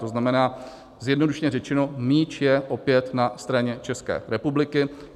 To znamená, zjednodušeně řečeno, míč je opět na straně České republiky.